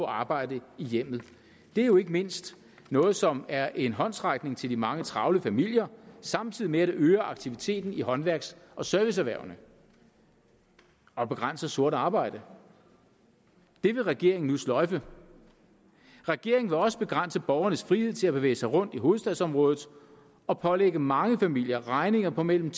arbejde i hjemmet det er jo ikke mindst noget som er en håndsrækning til de mange travle familier samtidig med at det øger aktiviteten i håndværks og serviceerhvervene og begrænser sort arbejde det vil regeringen nu sløjfe regeringen vil også begrænse borgernes frihed til at bevæge sig rundt i hovedstadsområdet og pålægge mange familier regninger på mellem